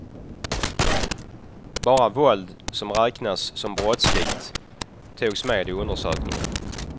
Bara våld som räknas som brottsligt togs med i undersökningen.